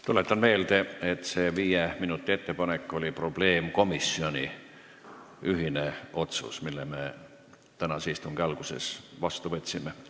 Tuletan meelde, et see viis minutit oli probleemkomisjoni ühine ettepanek, mille me tänase istungi alguses otsusena vastu võtsime.